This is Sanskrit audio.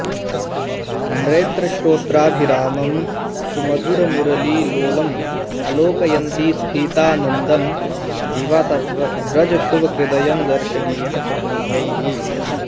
नेत्रश्रोत्राभिरामं सुमधुरमुरलीलोलमालोकयन्ति स्फीतानन्दं दिवा स व्रजशुभकृदयं दर्शनीयः सुपुण्यैः